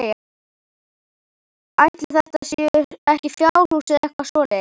Ætli þetta séu ekki fjárhús eða eitthvað svoleiðis?